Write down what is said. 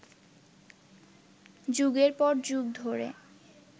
যুগের পর যুগ ধরে